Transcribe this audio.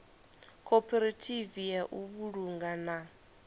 khophorethivi ya u vhulunga na